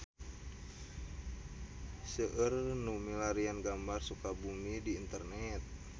Seueur nu milarian gambar Sukabumi di internet